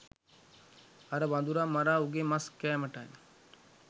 අර වඳුරා මරා උගේ මස් කෑමටයි.